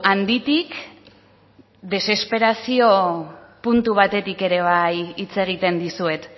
handitik desesperazio puntu batetik ere bai hitz egiten dizuet